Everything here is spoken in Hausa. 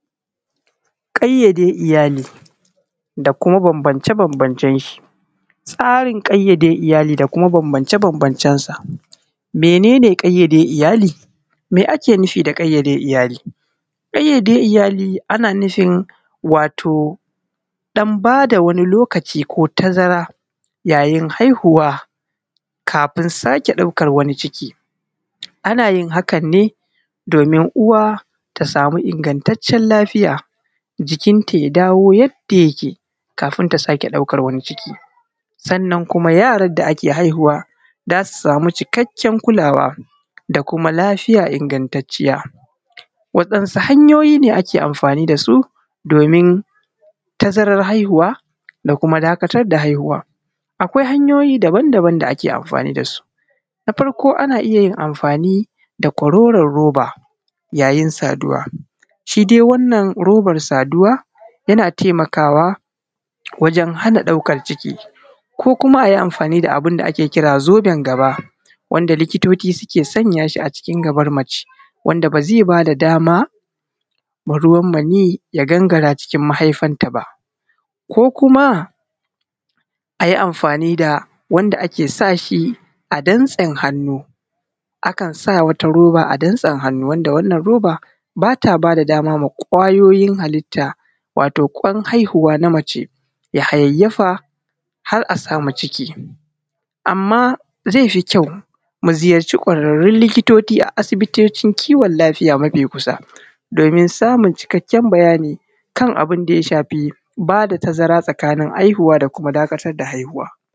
Kayyade iyali da kuma bambance-bambancen sa. Tsarin ƙayyade iyali da bambance-bambancen sa mene ne kayyade iyali? Me ake nufi da ƙayyade iyali? ƙayyade iyali ana nufin wato ɗan ba da wani lokaci wato tazar yayin haihuwa kafin sake ɗaukan wani ciki, ana yin hakan ne domin uwa ta samu ingantaccen lafiya jikinta ya dawo yadda yake kafin ta sake ɗaukar wani ciki, sannan kuma yaran da ake haihuwa za su samu cikakken kulawa da kuma lafiya ingantacciya. Wasu hanyoyi ne ake amfani da su domin tazaran haihuwa da kuma dakatar da haihuwan? Akwai hanyoyi daban-daban da ake amfani da su na farko ana iya yin amfani da kororon roba yayin saduwa, shi dai wannan roban saduwa yana taimakawa wajen hana ɗaukan ciki ko kuma a yi amfani da abun da ake kira zoben gaba wanda likitoci suke sanya shi a cikin gabar mace wanda ba zai ba da dama ba wa ruwan maniyi ya gangara cikin mahaifanta ba ko kuma a yi amfani da wanda ake sa shi a damtsen hannu, akan sa wata zobe a damtsen hannu wanda wannan roba ba ta ba da dama wa kwayoyin halitta, wato kwan haihuwa na mace ya hayayyafa har a samu ciki. Amma zai fi kyau da mu ziyarci kwararrun likitoci a asibitocin kiwon lafiya mafi kusa domin samun cikakken bayani kan abun da ya shafi ba da tazara tsakanin haihuwa ko kuma dakatar da haihuwa.